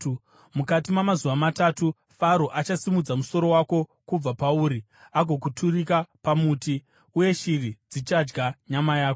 Mukati mamazuva matatu, Faro achasimudza musoro wako kubva pauri agokuturika pamuti. Uye shiri dzichadya nyama yako.”